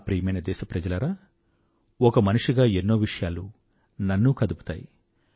నా ప్రియమైన దేశప్రజలారా ఒక మనిషిగా ఎన్నో విషయాలు నన్నూ కదుపుతాయి